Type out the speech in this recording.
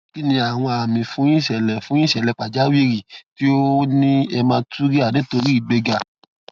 kí ni àwọn àmì fún ìṣẹlẹ fún ìṣẹlẹ pàjáwìrì tí ó ní hematuria nítorí ìgbéga